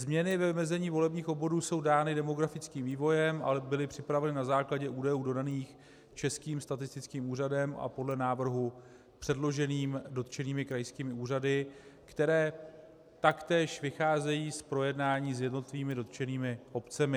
Změny ve vymezení volebních obvodů jsou dány demografickým vývojem, ale byly připraveny na základě údajů dodaných Českým statistickým úřadem, a podle návrhu předloženým (?) dotčenými krajskými úřady, které taktéž vycházejí z projednání s jednotlivými dotčenými obcemi.